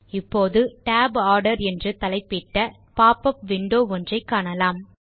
இப்போது Tab order என்று தலைப்பிட்ட பாப் உப் விண்டோ ஒன்றை காணலாம்